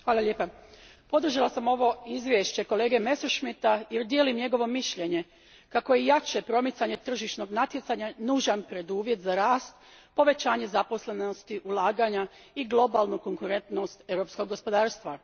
Gospođo predsjednice, podržala sam ovo izvješće kolege Messerschmidta jer dijelim njegovo mišljenje kako je jače promicanje tržišnog natjecanja nužan preduvjet za rast povećanje zaposlenosti, ulaganja i globalne konkurentnosti europskog gospodarstva.